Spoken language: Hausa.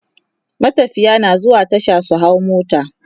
matafiya na zuwa Tasha su hau mota